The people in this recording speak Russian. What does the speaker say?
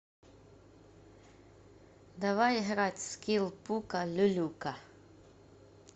давай играть в скилл пука люлюка